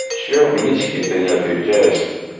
чем мишке то не отвечаешь